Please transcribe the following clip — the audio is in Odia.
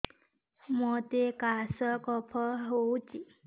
ମୋତେ କାଶ କଫ ହଉଚି